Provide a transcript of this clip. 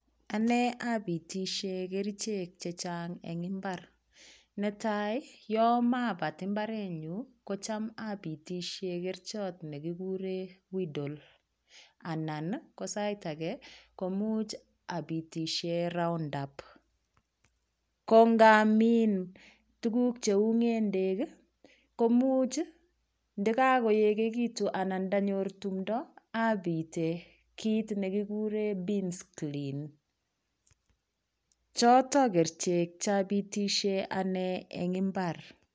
Ane apitishe kerchek chechang' eng' imbar netai yo mapat mbarenyu ko cham apitishe kerchot nekikure weedall anan ko sait age komuch apitishe roundup ko ngamin tuguk cheu ng'endek komuch ndakakoegekitu anan ndanyor tumdo apite kiit nekikure beansclean choto kerichek chapitishe ane eng' mbar